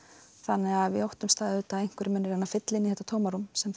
þannig við óttumst að einhverjir munu reyna að fylla inn í þetta tómarúm sem